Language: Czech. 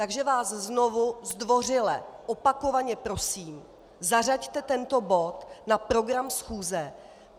Takže vás znovu zdvořile opakovaně prosím, zařaďte tento bod na program schůze.